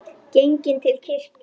Genginn til kirkju.